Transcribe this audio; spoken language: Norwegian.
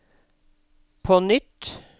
på nytt